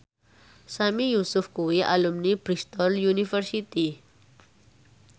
Sami Yusuf kuwi alumni Bristol university